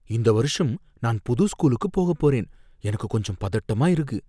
இந்த வருஷம் நான் புது ஸ்கூலுக்கு போகப் போறேன், எனக்கு கொஞ்சம் பதட்டமா இருக்கு.